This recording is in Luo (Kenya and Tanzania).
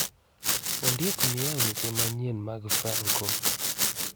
Ondiek miya weche manyien mag franco